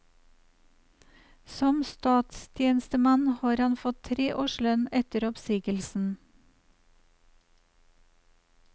Som statstjenestemann har han fått tre års lønn etter oppsigelsen.